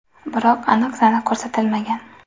Biroq aniq sana ko‘rsatilmagan.